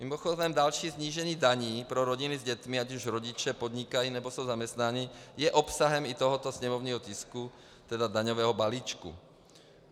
Mimochodem další snížení daní pro rodiny s dětmi, ať už rodiče podnikají, nebo jsou zaměstnáni, je obsahem i tohoto sněmovního tisku - tedy daňového balíčku.